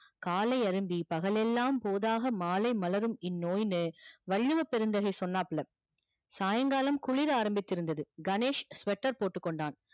காலை அரும்பி பகல் எல்லாம் போதாக மாலை மலரும் இன் நோய் னு வள்ளுவ பெருந்தகை சொன்னாப்புல சாய்ங்காலம் குளிர் ஆறமித்திருந்தது கணேஷ் sweater போட்டுக்கொண்டான்